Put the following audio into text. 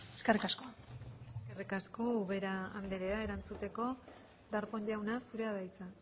eskerrik asko eskerrik asko ubera andrea erantzuteko darpón jauna zurea da hitza